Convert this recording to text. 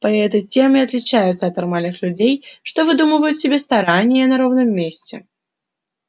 поэты тем и отличаются от нормальных людей что выдумывают себе старания на ровном месте